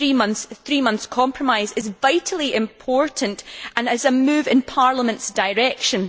The three months compromise is vitally important and is a move in Parliament's direction.